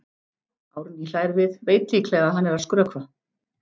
Árný hlær við, veit líklega að hann er að skrökva.